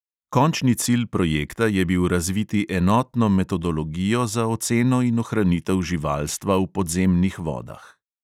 Končni cilj projekta je bil razviti enotno metodologijo za oceno in ohranitev živalstva v podzemnih vodah.